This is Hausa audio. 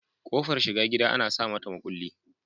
Kofar shiga gida Ana samata makulli